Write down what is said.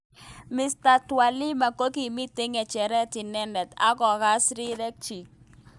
Ms Twalima kokimi ngecheret inendet ak kokas rirek chik.